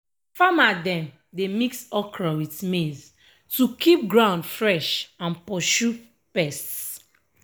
farmer dem dey mix okra with maize to keep ground fresh and pursue pests.